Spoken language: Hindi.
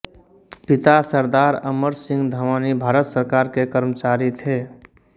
पिता सरदार अमर सिंह धमानी भारत सरकार के कर्मचारी थे